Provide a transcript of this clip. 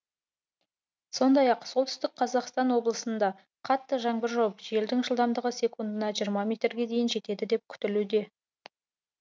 сондай ақ солтүстік қазақстан облысында қатты жаңбыр жауып желдің жылдамдығы секундына жиырма метрге дейін жетеді деп күтілуде